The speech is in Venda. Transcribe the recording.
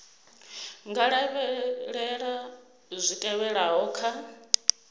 nga lavhelela zwi tevhelaho kha